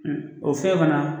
O fɛn fana